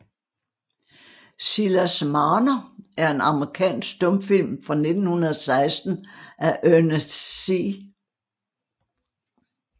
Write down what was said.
Silas Marner er en amerikansk stumfilm fra 1916 af Ernest C